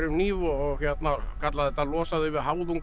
hníf og kallaði þetta að losa þau við